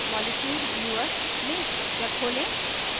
2 molecules viewer molecules viewer में structure खोलें